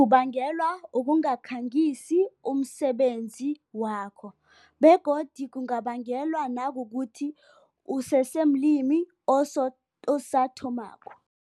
Kubangelwa ukungakhangisi umsebenzi wakho, begodi kungabangelwa nakukuthi usesemlimi asathomako.